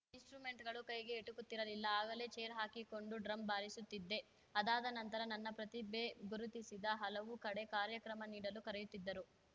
ಇನ್ಸಟ್ರುಮೆಂಟ್‌ಗಳು ಕೈಗೆ ಎಟುಕುತ್ತಿರಲಿಲ್ಲ ಆಗಲೇ ಚೇರ್ ಹಾಕಿಕೊಂಡು ಡ್ರಮ್‌ ಬಾರಿಸುತ್ತಿದ್ದೆ ಅದಾದನಂತರ ನನ್ನ ಪ್ರತಿಭೆ ಗುರುತಿಸಿದ ಹಲವು ಕಡೆ ಕಾರ್ಯಕ್ರಮ ನೀಡಲು ಕರಿಯುತ್ತಿದ್ದರು